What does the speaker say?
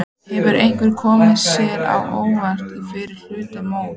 Hefur eitthvað komið þér á óvart í fyrri hluta móts?